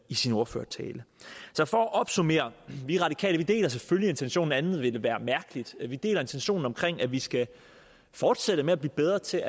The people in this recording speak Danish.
i sin ordførertale så for at opsummere vi radikale deler selvfølgelig intentionerne andet ville være mærkeligt vi deler intentionen om at vi skal fortsætte med at blive bedre til